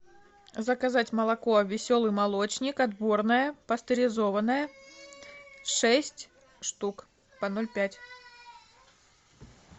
заказать молоко веселый молочник отборное пастеризованное шесть штук по ноль пять